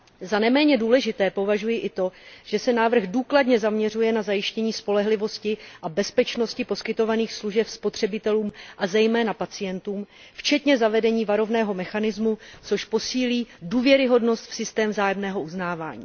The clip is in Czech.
Za neméně důležité považuji i to, že se návrh důkladně zaměřuje na zajištění spolehlivosti a bezpečnosti poskytovaných služeb spotřebitelům a zejména pacientům, včetně zavedení varovného mechanismu, což posílí důvěryhodnost v systém vzájemného uznávání.